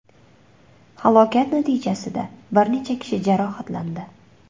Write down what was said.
Halokat natijasida bir necha kishi jarohatlandi.